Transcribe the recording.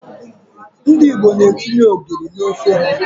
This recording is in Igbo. Ndị Igbo etinye ogiri n'ofe ha.